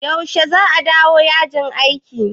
Yaushe za a dawo yajin aikin?